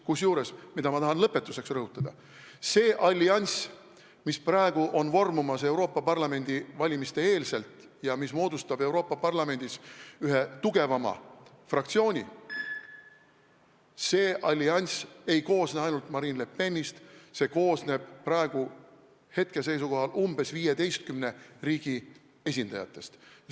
Kusjuures, ma tahan lõpetuseks rõhutada, see allianss, mis on vormumas praegu, Euroopa Parlamendi valimiste eel ja mis moodustab Euroopa Parlamendis ühe tugevama fraktsiooni, ei koosne ainult Marine Le Penist, see koosneb hetkeseisuga umbes 15 riigi esindajatest.